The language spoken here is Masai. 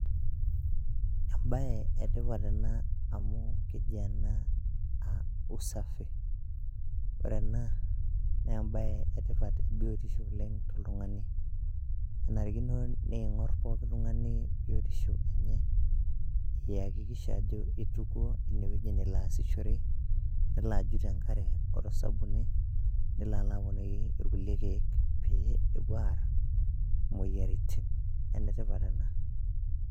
Embaye etipat Ena amu keji Ena usafi. ore Ena, naa embaye etipat biotisho le oltung'ani. enarikino niing'orr pooki tung'ani biotisho enye iakikisha ajo itukuo ine weji nelo aasishore nelo ajut te nkare wo sabuni nelo alo aponiki irkulie keek pee epuo är moyiaritin. Enetipat ena.